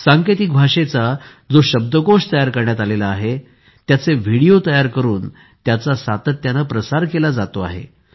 सांकेतिक भाषेचा जो शब्दकोश तयार करण्यात आला आहे त्याचे व्हिडिओ तयार करून त्याचा सातत्याने प्रसार केला जातो आहे